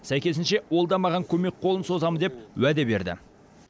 сәйкесінше ол да маған көмек қолын созамын деп уәде берді